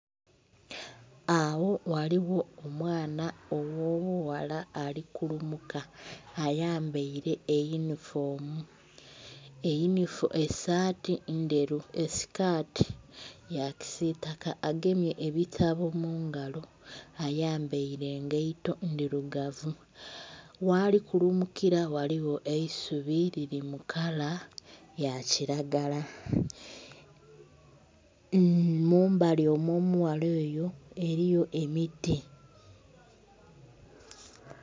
Awo ghaligho omwana ogh'obughala ali kulumuka ayambaire eyunifomu, esaati ndheru esikaati ya kisiitaka agemye ebitabo mu ngalo, ayambaile engaito ndhirugavu. Ghali kulumukila ghaligho eisubi liri mu kala ya kilagala. Mu mbali omw'omughala oyo eliyo emiti